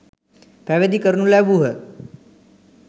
පැවිදි කරනු ලැබූහ.